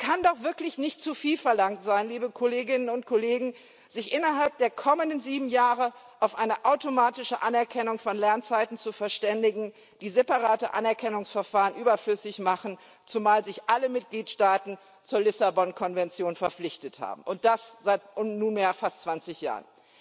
Es kann doch wirklich nicht zu viel verlangt sein, sich innerhalb der kommenden sieben Jahre auf eine automatische Anerkennung von Lernzeiten zu verständigen, die separate Anerkennungsverfahren überflüssig macht, zumal sich alle EU Mitgliedstaaten zur Lissabon Konvention verpflichtet haben, und das seit nunmehr fast 20 Jahren.